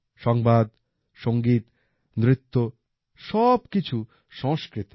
সংবাদ সংগীত নৃত্য সবকিছু সংস্কৃতে